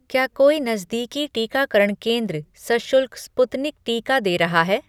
क्या कोई नज़दीकी टीकाकरण केंद्र सशुल्क स्पुतनिक टीका दे रहा है?